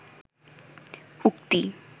উক্তি